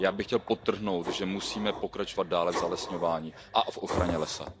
Já bych chtěl podtrhnout, že musíme pokračovat dále v zalesňování a ochraně lesa.